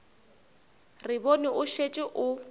re bone o šetše o